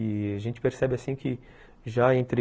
E a gente percebe assim que já entre